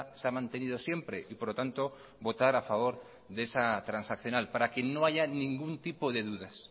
se ha mantenido siempre y por lo tanto votar a favor de esa transaccional para que no haya ningún tipo de dudas